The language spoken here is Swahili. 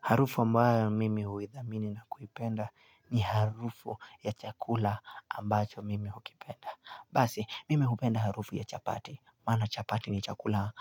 Harufu ambayo mimi huisamini na kuipenda ni harufu ya chakula ambacho mimi hukipenda. Basi, mimi hukipenda harufu ya chapati. Maana chapati ni chakula,